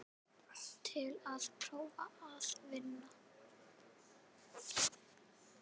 Þetta er líklega létt tognun.